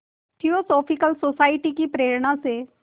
theosophical society की प्रेरणा से